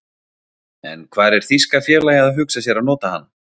En hvar er þýska félagið að hugsa sér að nota hana?